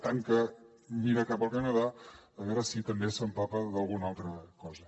tant que mira cap al canadà a veure si també s’amara d’alguna altra cosa